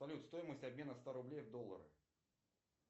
салют стоимость обмена ста рублей в доллары